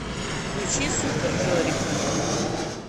включи супер жорика